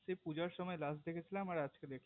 সেই পূজার সময় last দেখেছিলাম আর আজকে দেখলাম